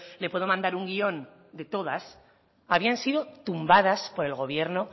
le puedo mandar un guión de todas habían sido tumbadas por el gobierno